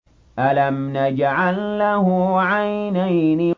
أَلَمْ نَجْعَل لَّهُ عَيْنَيْنِ